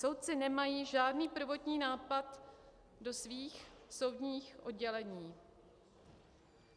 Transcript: Soudci nemají žádný prvotní nápad do svých soudních oddělení.